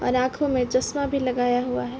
और आँखों में चश्मा भी लगाया हुआ है।